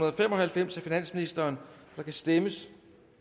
og fem og halvfems af finansministeren der kan stemmes